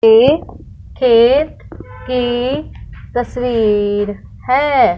यह खेत की तस्वीर है।